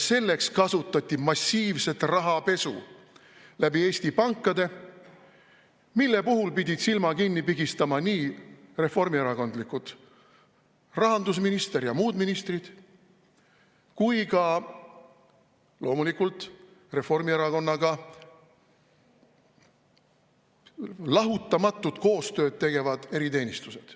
Selleks kasutati massiivset rahapesu läbi Eesti pankade, mille puhul pidid silma kinni pigistama nii reformierakondlikud rahandusminister ja muud ministrid kui ka loomulikult Reformierakonnaga lahutamatult koostööd tegevad eriteenistused.